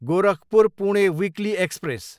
Gorakhpur, Pune weekly express